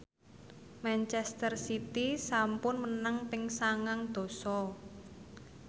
manchester city sampun menang ping sangang dasa